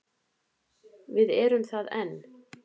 Við erum það enn.